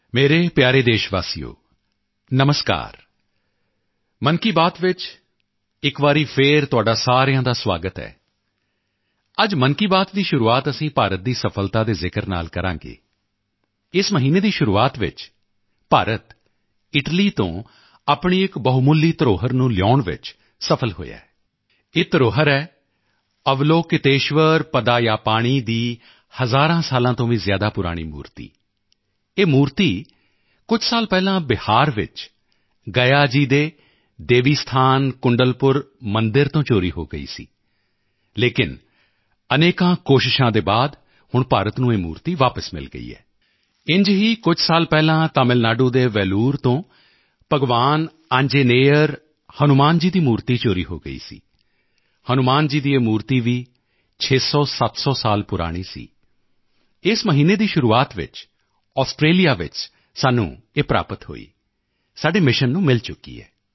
ਮੇਰੇ ਪਿਆਰੇ ਦੇਸ਼ਵਾਸੀਓ ਨਮਸਕਾਰ ਮਨ ਕੀ ਬਾਤ ਵਿੱਚ ਫਿਰ ਇੱਕ ਵਾਰ ਆਪ ਸਭ ਦਾ ਸੁਆਗਤ ਹੈ ਅੱਜ ਮਨ ਕੀ ਬਾਤ ਦੀ ਸ਼ੁਰੂਆਤ ਅਸੀਂ ਭਾਰਤ ਦੀ ਸਫ਼ਲਤਾ ਦੇ ਜ਼ਿਕਰ ਨਾਲ ਕਰਾਂਗੇ ਇਸ ਮਹੀਨੇ ਦੀ ਸ਼ੁਰੂਆਤ ਵਿੱਚ ਭਾਰਤ ਇਟਲੀ ਤੋਂ ਆਪਣੀ ਇੱਕ ਬਹੁਮੁੱਲੀ ਧਰੋਹਰ ਨੂੰ ਲਿਆਉਣ ਵਿੱਚ ਸਫ਼ਲ ਹੋਇਆ ਹੈ ਇਹ ਧਰੋਹਰ ਹੈ ਅਵਲੋਕਿਤੇਸ਼ਵਰ ਪਦਮਪਾਣਿ ਦੀ ਹਜ਼ਾਰ ਸਾਲਾਂ ਤੋਂ ਵੀ ਜ਼ਿਆਦਾ ਪੁਰਾਣੀ ਪ੍ਰਤਿਮਾ ਇਹ ਪ੍ਰਤਿਮਾ ਕੁਝ ਸਾਲ ਪਹਿਲਾਂ ਬਿਹਾਰ ਵਿੱਚ ਗਯਾ ਜੀ ਦੇ ਦੇਵੀ ਸਥਾਨ ਕੁੰਡਲਪੁਰ ਮੰਦਿਰ ਤੋਂ ਚੋਰੀ ਹੋ ਗਈ ਸੀ ਲੇਕਿਨ ਅਨੇਕ ਪ੍ਰਯਤਨਾਂ ਦੇ ਬਾਅਦ ਹੁਣ ਭਾਰਤ ਨੂੰ ਇਹ ਪ੍ਰਤਿਮਾ ਵਾਪਸ ਮਿਲ ਗਈ ਹੈ ਇੰਝ ਹੀ ਕੁਝ ਸਾਲ ਪਹਿਲਾਂ ਤਮਿਲ ਨਾਡੂ ਦੇ ਵੈਲੂਰ ਤੋਂ ਭਗਵਾਨ ਆਂਜਨੇੱਯਰ ਹਨੂੰਮਾਨ ਜੀ ਦੀ ਪ੍ਰਤਿਮਾ ਚੋਰੀ ਹੋ ਗਈ ਸੀ ਹਨੂੰਮਾਨ ਜੀ ਦੀ ਇਹ ਮੂਰਤੀ ਵੀ 600700 ਸਾਲ ਪੁਰਾਣੀ ਸੀ ਇਸ ਮਹੀਨੇ ਦੀ ਸ਼ੁਰੂਆਤ ਵਿੱਚ ਆਸਟ੍ਰੇਲੀਆ ਵਿੱਚ ਸਾਨੂੰ ਇਹ ਪ੍ਰਾਪਤ ਹੋਈ ਸਾਡੇ ਮਿਸ਼ਨ ਨੂੰ ਮਿਲ ਚੁੱਕੀ ਹੈ